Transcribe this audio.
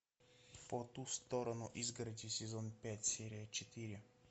по ту сторону изгороди сезон пять серия четыре